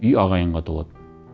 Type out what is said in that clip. үй ағайынға толады